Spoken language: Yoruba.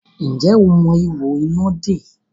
Ǹjẹ́ o mọ ihò iná dè?